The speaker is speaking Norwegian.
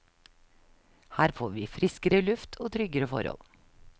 Her får vi friskere luft og tryggere forhold.